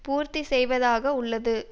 பூர்த்தி செய்வதாக உள்ளது